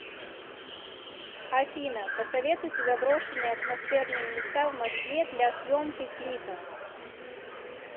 афина посоветуйте заброшенные атмосферные места в москве для съемки клипа